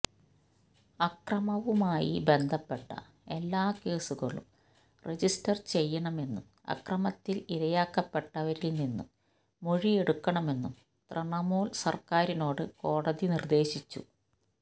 അക്രമവുമായി ബന്ധപ്പെട്ട എല്ലാ കേസുകളും രജിസ്റ്റര് ചെയ്യണമെന്നും അക്രമത്തില് ഇരയാക്കപ്പെട്ടവരില് നിന്നും മൊഴിയെടുക്കണമെന്നും തൃണമൂല് സര്ക്കാരിനോട് കോടതി നിര്ദേശിച്ചു